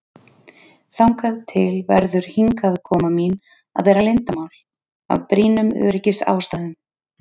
Þangað til verður hingaðkoma mín að vera leyndarmál, af brýnum öryggisástæðum.